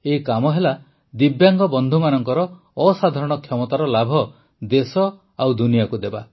ଏହି କାମ ହେଲା ଦିବ୍ୟାଙ୍ଗ ବନ୍ଧୁମାନଙ୍କର ଅସାଧାରଣ କ୍ଷମତାର ଲାଭ ଦେଶ ଓ ଦୁନିଆକୁ ଦେବା